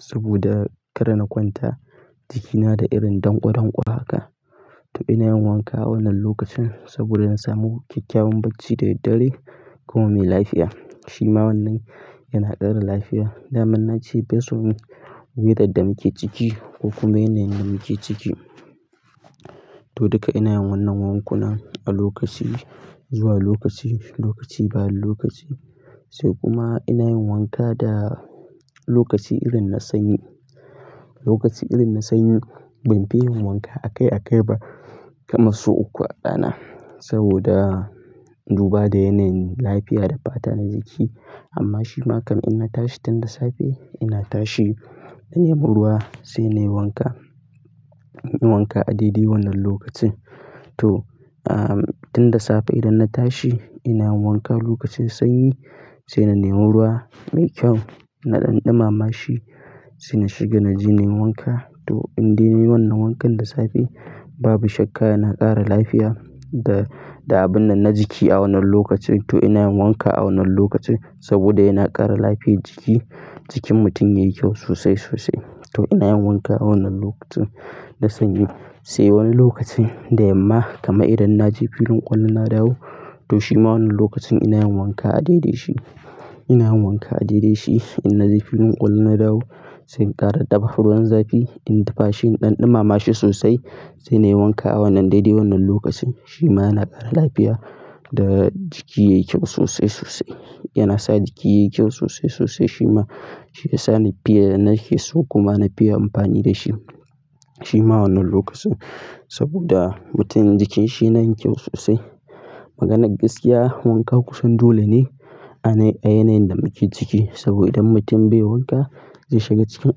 saboda kar na kwanta jikina da irin ɗanƙo, ɗanƙo haka. To ina yin wanka wannan lokacin saboda na samu kyakkyawan bacci da daddare kuma mai lafiya. Shima wannan yana ƙara lafiya. Daman na ce bai so wutar da muke ciki ko kuma yanayin da muke ciki. To duka ina yin wannan wankuna a lokaci, zuwa lokaci, lokaci bayan lokaci. Sai kuma ina yin wanka da lokaci irin na sanyi. Lokaci irin na sanyi ban fi yin wanka a kai a kai ba kama sau uku a rana saboda duba da yanayin lafiya da fata na jiki. Amma shima kam in na tashi tun da safe ina tashi na nemo ruwa sai na yi wanka. Ina yin wanka a daidai wannan lokacin. To, tun da safe idan na tashi ina yin wanka lokacin sanyi sai na nemo ruwa mai kyau, na ɗanɗuma ma shi sai na shiga na je na yi wanka. To in dai na yi wannan wankan da safe babu shakka yana ƙara lafiya da, da abun nan na jiki a wannan lokacin. To ina yin wanka a wannan lokacin saboda yana ƙara lafiyar jiki. Jikin mutum yayi kyau sosai, sosai. To ina yin wanka a wannan lokacin na sanyi. Sai wani lokacin da yamma kama idan na je filin ƙwallon na dawo to shima wannan lokacin ina yin wanka a daidai shi. Ina yin wanka a daidai shi in na je filin ƙwallon na dawo sai in ƙara dafa ruwan zafi in ɗafa shi ɗanɗuma ma shi sosai sai na yi wanka a wannan daidai wannan lokacin. Shima yana ƙara lafiya da jiki yayi kyau sosai, sosai. Yana sa jiki yayi kyau sosai, sosai shima shi ya sa ni fiya na sha so kuma na fiya amfani da shi. Shima wannan lokacin saboda mutum jikinsa yana yin kyau sosai. Maganar gaskiya wanka kusan dole ne a yanayin da muke ciki. Saboda idan mutum bai yi wanka zai shiga cikin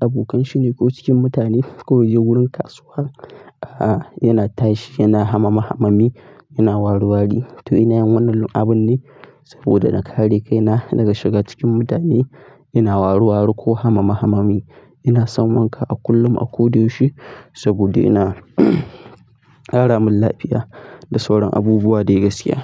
abokanshi ne ko cikin mutane ko ya je wurin kasuwa, a, yana tashi yana hamama hamami, yana warwari. To ina yin wannan abun ne saboda na kare kaina daga shiga cikin mutane. Ina warwari ko hamama hamami. Ina son wanka a kullum a ko da yaushe saboda yana ƙara min lafiya da sauran abubuwa dai gaskiya.